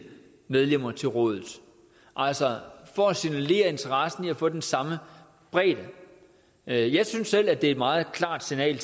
medlemmer til rådet altså for at signalere interessen i at få den samme bredde jeg jeg synes selv at det er et meget klart signal